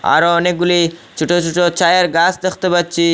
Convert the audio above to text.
আরো অনেকগুলি ছোট ছোট চায়ের গাছ দেখতে পাচ্ছি।